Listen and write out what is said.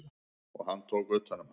Og hann tók utan um hana.